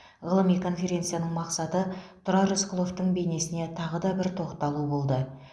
ғылыми конференцияның мақсаты тұрар рысқұловтың бейнесіне тағы да бір тоқталу болды